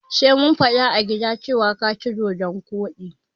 Sai mun fada a gida cewar ka ci dodon koɗi.